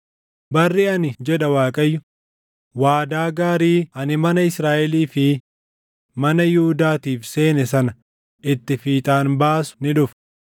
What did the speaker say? “ ‘Barri ani’ jedha Waaqayyo ‘waadaa gaarii ani mana Israaʼelii fi mana Yihuudaatiif seene sana itti fiixaan baasu ni dhufa.’